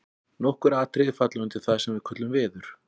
Nokkur atriði falla undir það sem við köllum veður.